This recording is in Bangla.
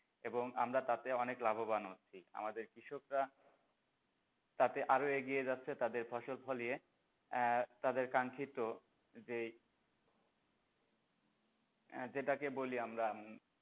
এবং আমরা তাতে অনেক লাভবান হচ্ছি আমাদের কৃষকরা তাতে আরো এগিয়ে যাচ্ছে তাদের ফসল ফলিয়ে আহ তাদের কাঙ্খিত যে যেটাকে বলি আমরা, হম